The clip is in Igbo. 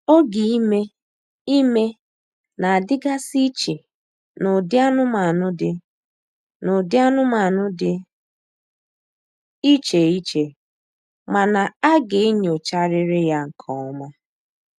Oge ime ime na-adịgasị iche n'ụdị anụmanụ dị n'ụdị anụmanụ dị iche iche mana a ga-enyocharịrị ya nke ọma.